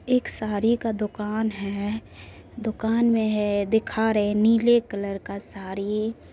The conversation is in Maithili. एक साड़ी का दोकान है दोकान मे है दिखा रहे नीले कलर का साड़ी ---